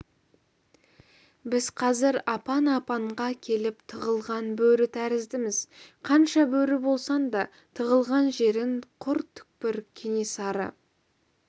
біз қазір апан-апанға келіп тығылған бөрі тәріздіміз қанша бөрі болсаң да тығылған жерің құр түкпір кенесары